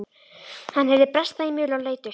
Hann heyrði bresta í möl og leit upp.